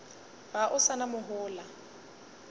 ga o sa na mohola